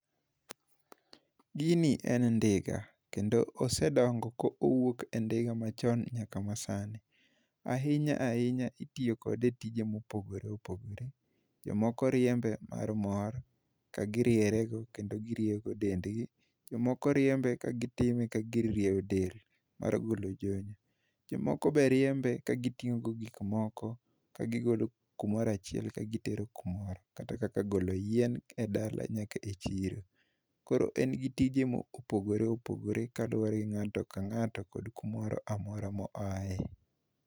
Gini en ndiga, kendo osedongo ko owuok e ndiga machon nyaka ma sani. Ahinya ahinya, itiyo kode e tije mopogore opogore. Jomoko riembe mar mor, ka giriere go, kendo girieyo go dendgi. Jomoko jiembe ka gitime ka gir rieyo del mar golo jony. Jomoko be riembe ka gitingó go gik moko, ka gigolo kumoro achiel, ka gitero kumoro. Kata kaka golo yien e dala nyaka e chiro. Koro, en gi tije mopogore opogore ngáto ka ngáto kod kumoro amora moae.